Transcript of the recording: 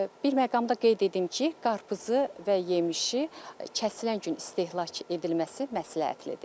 Bir məqamı da qeyd edim ki, qarpızı və yemişi kəsilən gün istehlak edilməsi məsləhətlidir.